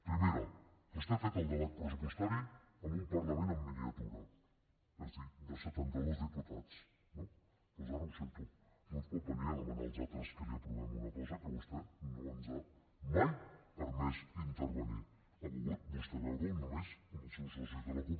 primera vostè ha fet el debat pressupostari en un parlament en miniatura és a dir de setanta dos diputats no doncs ara ho sento no ens pot venir a demanar als altres que li aprovem una cosa que vostè no ens ha mai permès intervenir hi ha volgut vostè veure ho només amb els seus socis de la cup